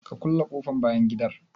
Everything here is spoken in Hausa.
Ka kulle ƙofan bayan gidan?